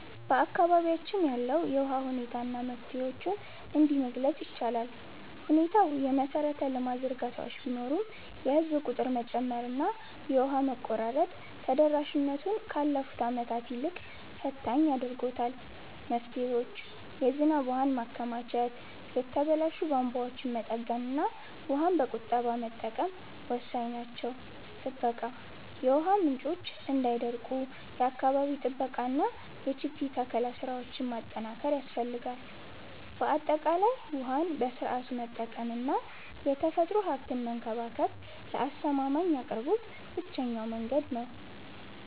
በአካባቢያችን ያለውን የውሃ ሁኔታ እና መፍትሄዎቹን እንዲህ መግለፅ ይቻላል፦ ሁኔታው፦ የመሰረተ ልማት ዝርጋታዎች ቢኖሩም፣ የህዝብ ቁጥር መጨመርና የውሃ መቆራረጥ ተደራሽነቱን ካለፉት ዓመታት ይልቅ ፈታኝ አድርጎታል። መፍትሄዎች፦ የዝናብ ውሃን ማከማቸት፣ የተበላሹ ቧንቧዎችን መጠገንና ውሃን በቁጠባ መጠቀም ወሳኝ ናቸው። ጥበቃ፦ የውሃ ምንጮች እንዳይደርቁ የአካባቢ ጥበቃና የችግኝ ተከላ ስራዎችን ማጠናከር ያስፈልጋል። ባጠቃላይ፣ ውሃን በስርዓቱ መጠቀምና የተፈጥሮ ሀብትን መንከባከብ ለአስተማማኝ አቅርቦት ብቸኛው መንገድ ነው።